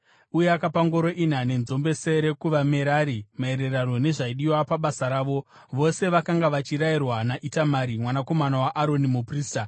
uye akapa ngoro ina nenzombe tsere kuvaMerari, maererano nezvaidiwa pabasa ravo. Vose vakanga vachirayirwa naItamari mwanakomana waAroni, muprista.